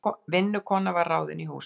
Vinnukona var ráðin í húsið.